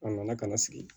A nana ka na sigi